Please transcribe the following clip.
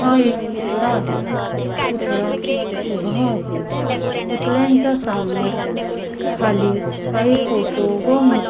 हा एक पुतळा आहे पुतळा उभा आहे पुतळ्यांच्या सामोर खाली काही फोटो व मु --